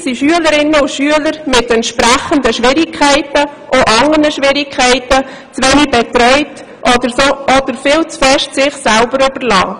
Häufig sind Schülerinnen und Schüler mit entsprechenden Schwierigkeiten – auch anderen Schwierigkeiten – zu wenig betreut oder viel zu sehr sich selbst überlassen.